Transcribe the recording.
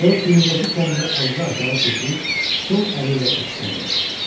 Sonra çiynindəki kəndiri azca aşağı keçirib sol əli ilə ipdən yapışdı.